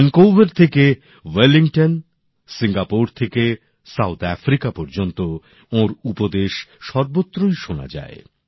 Vancouver থেকে Wellington Singapore থেকে দক্ষিণ আফ্রিকা পর্যন্ত ওঁর উপদেশ সর্বত্রই শোনা যায়